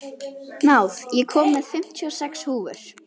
Náð, ég kom með fimmtíu og sex húfur!